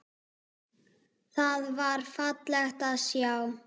Það var fallegt að sjá.